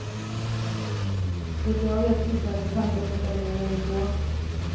Så vitt jag vet sysslar hennes tankar inte längre med er son.